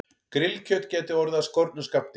Grillkjöt gæti orðið af skornum skammti